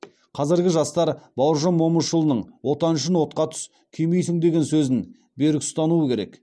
қазіргі жастар бауыржан момышұлының отан үшін отқа түс күймейсің деген сөзін берік ұстануы керек